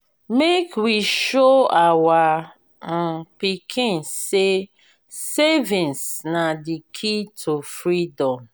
make we show our um pikin say savings na the key to freedom.